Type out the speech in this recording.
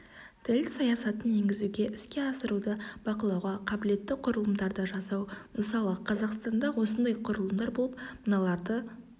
тіл саясатын енгізуге іске асыруды бақылауға қабілетті құрылымдарды жасау мысалы қазақстанда осындай құрылымдар болып мыналар лады